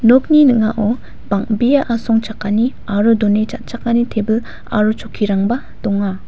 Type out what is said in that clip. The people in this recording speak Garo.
nokni ning·ao bang·bea asongchakani aro done cha·chakani tebil aro chokkirangba donga.